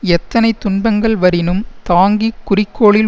எத்தனைத் துன்பங்கள் வரினும் தாங்கி குறிக்கோளில்